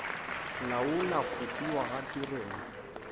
laola go fiwa ga tirelo